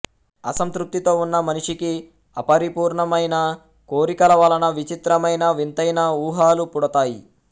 అసంతృప్తితో ఉన్న మనిషికి అపరిపూర్ణమైన కోరికల వలన విచిత్రమైన వింతైన ఊహలు పుడతాయి